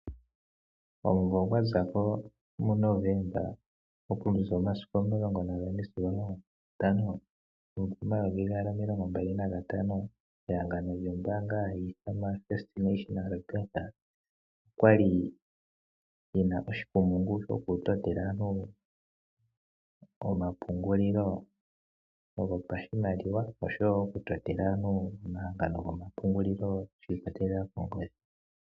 Omumvo gwa zako mu Novemba okuza omasiku 14-15 ehangano lyombaanga hayi ithanwa First National Bank okwali ye na oshikumungu shokutotela aantu omapungulilo gopashimaliwa noshowo okutotela aantu omahangano gomapungulilo shi ikwatelela kongodhi.